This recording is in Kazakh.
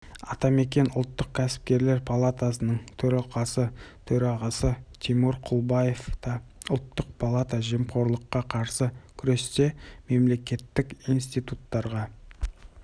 атамекен ұлттық кәсіпкерлер палатасының төралқасы төрағасы тимур құлыбаев та ұлттық палата жемқорлыққа қарсы күресте мемлекеттік институттарға